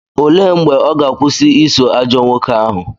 Olee mgbe ọ ga-akwụsị iso ajọ nwoke ahụ?